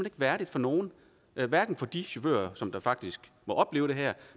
ikke værdigt for nogen hverken for de chauffører som faktisk må opleve det her